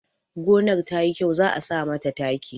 Gonar ta yi kyau za a sa mata taki